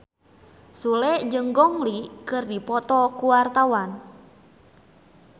Sule jeung Gong Li keur dipoto ku wartawan